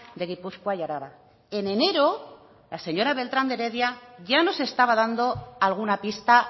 de gipuzkoa y araba en enero la señora beltrán de heredia ya nos estaba dando alguna pista